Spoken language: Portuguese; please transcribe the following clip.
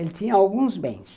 Ele tinha alguns bens.